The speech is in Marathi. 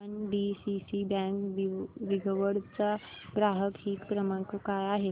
एनडीसीसी बँक दिघवड चा ग्राहक हित क्रमांक काय आहे